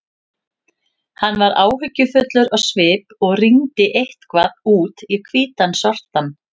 Hann var áhyggjufullur á svip og rýndi eitthvað út í hvítan sortann.